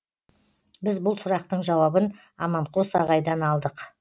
біз бұл сұрақтың жауабын аманқос ағайдан алдық